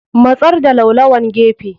Matsar da laulawan gefe.